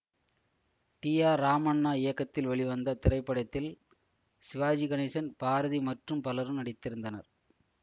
D R Ramanna இயக்கத்தில் வெளிவந்த இத்திரைப்படத்தில் சிவாஜி கணேசன் பாரதி மற்றும் பலரும் நடித்திருந்தனர்